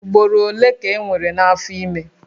Ugboro ole ka enwere n'afọ ime?